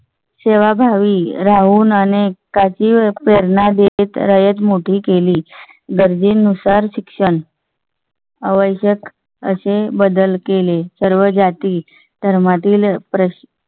सेवाभावी राहून पेरणा देते रयत मोठी केली. गरजेनुसार शिक्षण. अवश्यक असे बदल केले. सर्व जाती धर्मातील प्रश्न